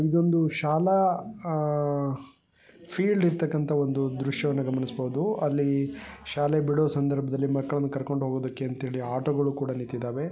ಇದೊಂದು ಶಾಲಾ ಆಹ್ ಫೀಲ್ಡ್ ಇರ್ತಕ್ಕಂತ ಒಂದು ದೃಶ್ಯವನ್ನು ಗಮನಿಸಬಹುದು ಅಲ್ಲಿ ಶಾಲೆ ಬಿಡೋ ಸಂದರ್ಭದಲ್ಲಿ ಮಕ್ಕಳನ್ನ ಕರ್ಕೊಂಡು ಹೋಗೋದಕ್ಕೆ ಅಂಥ ಹೇಳಿ ಆಟೋ ಗಳು ಕೂಡ ನಿಂತಿದವೆ.